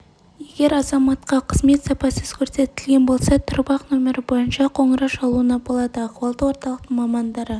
егер азаматқа қызмет сапасыз көрсетілген болса тұрып-ақ нөмірі бойынша қоңырау шалуына болады ахуалдық орталықтың мамандары